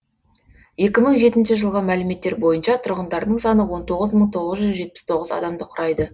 екі мың жетінші жылғы мәліметтер бойынша тұрғындарының саны он тоғыз мың тоғыз жүз жетпіс тоғыз адамды құрайды